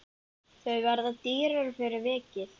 Þau verða dýrari fyrir vikið.